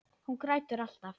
Hún grætur alltaf.